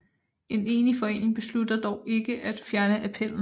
En enig forening beslutter dog ikke at fjerne appellen